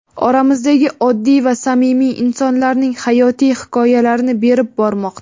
oramizdagi oddiy va samimiy insonlarning hayotiy hikoyalarini berib bormoqda.